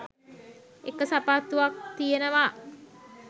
එක සපත්තුවක් තියෙනවා